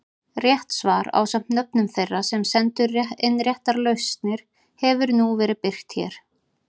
Rétt svar ásamt nöfnum þeirra sem sendu inn réttar lausnir hefur nú verið birt hér.